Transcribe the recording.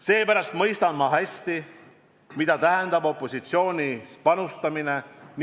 Seepärast mõistan ma hästi, mida tähendab opositsioonis panustamine.